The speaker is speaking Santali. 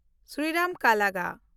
ᱥᱨᱤᱨᱟᱢ ᱠᱟᱞᱜᱟ